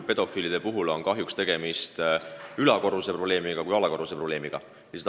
Pedofiilide puhul on üldjuhul tegemist rohkem ülakorruse probleemiga kui alakorruse probleemiga.